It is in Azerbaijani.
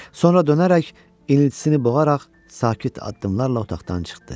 Sonra dönərək iniltisini boğaraq sakit addımlarla otaqdan çıxdı.